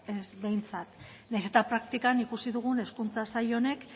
ez behintzat nahiz eta praktikan ikusi dugun hezkuntza sail honek